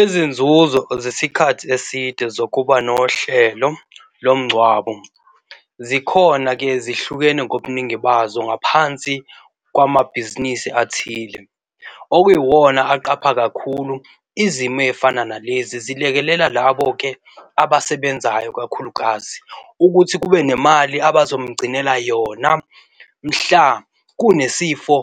Izinzuzo zesikhathi eside zokuba nohlelo lomngcwabo zikhona-ke zihlukene ngobuningi bazo ngaphansi kwamabhizinisi athile okuyiwona aqapha kakhulu izimo ezifana nalezi zilekelela labo-ke abasebenzayo, kakhulukazi ukuthi kube nemali abazomgcinela yona mhla kunesifo